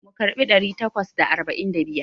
Mu karɓi ɗari takwas da arba'in da biyar.